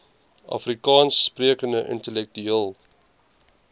afrikaans sprekende intellektueel